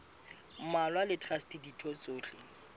mmalwa le traste ditho tsohle